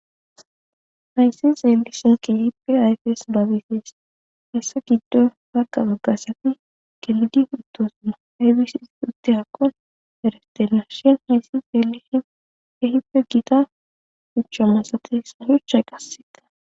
Hayssa xeellishee keehippe ayfes lo7abay des; heyssa giddo woga woga asathi gelidi uttoosona; aybis utirako eretenna shin hayssa xeellishin keehippe githa shuchcha masates; ha shucchay qasseka.